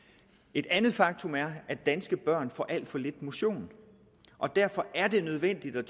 et andet faktum er at danske børn får alt for lidt motion og derfor er det nødvendigt at